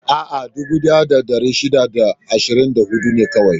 A'a, daƙiƙoƙi dubu ɗaya da ɗari shida da ashirin da huɗu ne kawai.